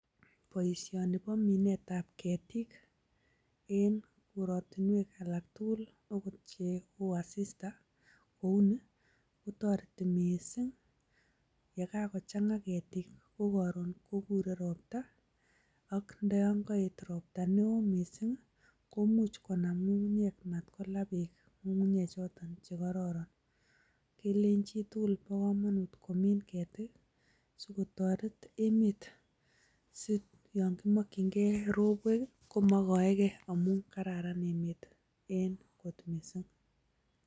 Boisioni bo minetab ketik en kortinwek alak tugul agot cheo asista kou nii kotoreti mising ye kagochang'a ketik ko koron kogure ropta. Ak ndo yon koet ropta neo mising komuch konam ng'ung'unyek mat kola beek ng'ung'unyek choto che kororon. Kilenchin chitugul bo komonut komin ketik sikotoret emet si yon kimokin key robwek komoigoike. Amun kararan emet en kot mising.